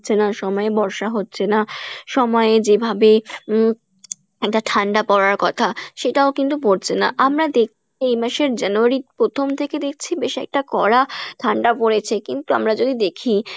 হচ্ছে না, সময়ে বর্ষা হচ্ছে না সময়ে যেভাবে উম একটা ঠাণ্ডা পরার কথা সেটাও কিন্তু পরছে না আমরা এই মাসের January র প্রথম থেকে দেখছি বেশ একটা কড়া ঠান্ডা পরেছে কিন্তু আমরা যদি দেখি